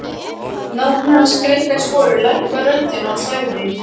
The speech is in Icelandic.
Nafni hans greikkaði sporið, lækkaði röddina og sagði